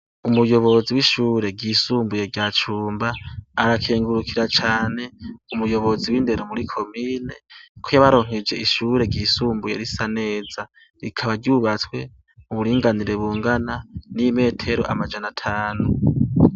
Umuyobozi w'ishure ryisumbuye rya Cumba arakengurukira cane umuyobozi w'indero muri komine ko yabaronkeje ishure ryisumbuye risa neza, rikaba ryubatswe mu buringanire bungana n’imetero amajana atanu.